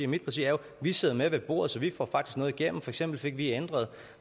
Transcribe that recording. mit parti er jo at vi sidder med ved bordet så vi får faktisk noget igennem for eksempel fik vi ændret